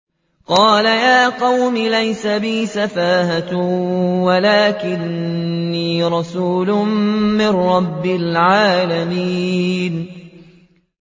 قَالَ يَا قَوْمِ لَيْسَ بِي سَفَاهَةٌ وَلَٰكِنِّي رَسُولٌ مِّن رَّبِّ الْعَالَمِينَ